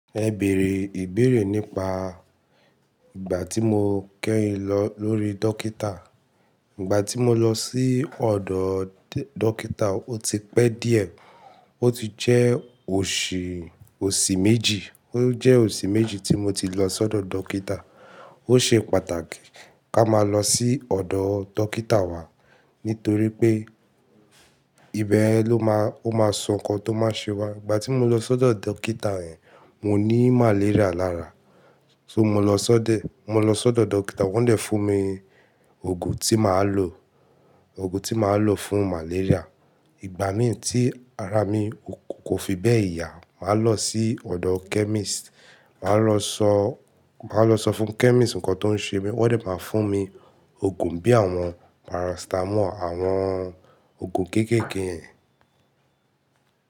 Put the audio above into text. Ẹ bèrè ìbéèrè nípa ìgbà tí mo kẹ́yin lọ lórí dókítà. Ìgbà tí mo lọ sí ọ̀dọ̀ dókítà, ó ti pẹ́ díẹ̀. Ó ti jẹ́ oṣù, oṣù méjì. Ó jẹ́ oṣù méjì tí mo ti lọ sọ́dọ̀ dókítà. Ó ṣe pàtàkì ká máa lọ sí ọ̀dọ̀ dókítà wa nítorí pé ìbẹyen ló má, ó máa sọ nǹkan tó máa ṣe wá. Ìgbà tí mo lọ sọ́dọ̀ dókítà hẹn, mo ní màléríà lára. So mo lọ sọ́dẹ̀, mo lọ sọ́dọ̀ dókítà wọ́n dẹ̀ fún mi òògùn tí màá lò, òògùn tí màá lò fún màléríà. Ìgbà mìíràn tí ara mi kò fi bẹ́ẹ̀ yá, màá lọ sí ọ̀dọ̀ kẹ́mísìtì, màá lọ sọ, màá lọ sọ fún kẹ́mísìtì nǹkan tó ń ṣe mí, wọ́n dẹ̀ máa fún mi òògùn bí àwọn parasítámọ̀ àwọn òògùn kéékèèké hẹn.